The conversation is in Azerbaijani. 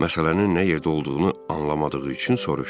Məsələnin nə yerdə olduğunu anlamadığı üçün soruşdu: